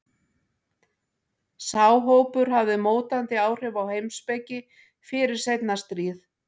Sá hópur hafði mótandi áhrif á heimspeki fyrir seinna stríð.